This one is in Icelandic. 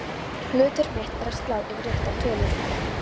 Hlutverk mitt er að slá inn réttar tölur.